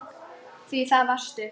Því það varstu.